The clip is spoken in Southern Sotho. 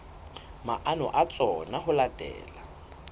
maano a tsona ho latela